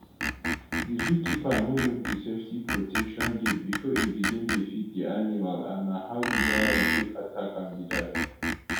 di zookeeper no lock di safety protection gate bifor e begin dey feed di animal and na how di lion take attack am be dat